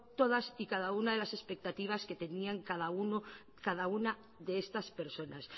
todas y cada una de las expectativas que tenía cada una de estas personas